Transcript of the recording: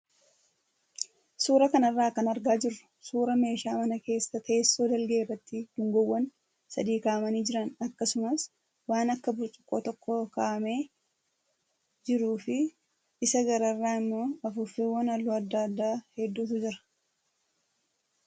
Suuraa kanarraa kan argaa jirru suuraa meeshaa mana keessaa teessoo dalgee irratti dungoowwan sadii kaa'amanii jiran akkumas waan akka burcuqqoo tokkos kaa'amee jiruu fi isa gararraa immoo afuuffeewwan halluu adda addaa hedduutu jira.